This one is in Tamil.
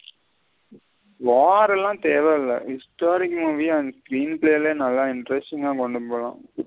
வார் எல்லாம் தேவ இல்ல screenplay லையே நல்ல interest ங்க கொண்டுபோலம்.